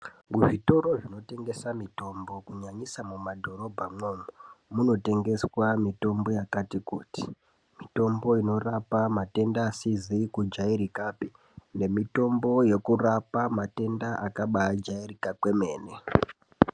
Zvitoro zvinotengesa mitombo kunyanya mumadhorobha imwomo .unotengeswa mitombo yakati kuti, mitombo inorapa matenda asizi kujairika pii nemitombo yekurapa matenda akabaa jairika kwemene.